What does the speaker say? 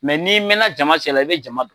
n'i mɛna jama cɛla i bɛ jama don.